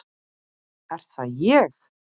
Er það ÉG??